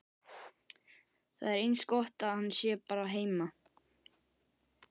Það er eins gott að hann sé bara heima.